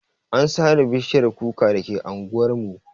An sare bishiyar kuka dake anguwar mu.